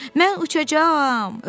Mən uçacağam!